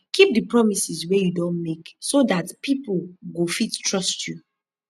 keep di promises wey you don make so dat pipo go fit trust you